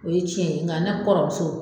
O ye tiɲɛ ye nka na kɔrɔmuso.